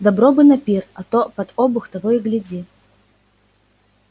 добро бы на пир а то под обух того и гляди